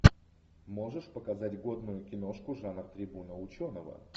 можешь показать годную киношку жанр трибуна ученого